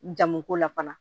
Jamu ko la fana